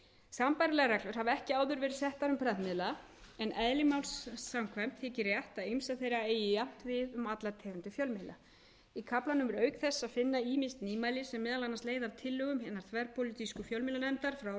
reglur hafa ekki áður verið settar um prentmiðla en eðli máls samkvæmt þykir rétt að ýmsar þeirra eigi jafnt við um allar tegundir fjölmiðla í kaflanum er auk þess að finna ýmis nýmæli sem meðal annars leiða af tillögum hinnar þverpólitísku fjölmiðlanefndar frá árinu tvö þúsund og